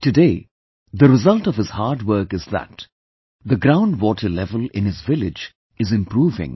Today, the result of his hard work is that the ground water level in his village is improving